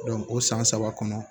o san saba kɔnɔ